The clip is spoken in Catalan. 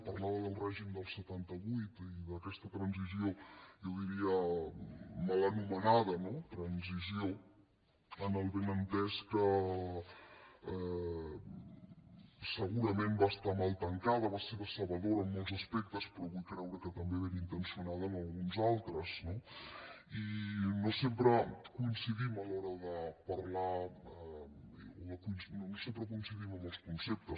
parlava del règim del setanta vuit i d’aquesta transició jo diria mal anomenada transició amb el benentès que segurament va estar mal tancada va ser decebedora en molts aspectes però vull creure que també benintencionada en alguns altres no i no sempre coincidim a l’hora de parlar o no sempre coincidim en els conceptes